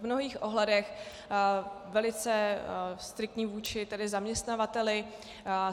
V mnohých ohledech velice striktní vůči tedy zaměstnavateli.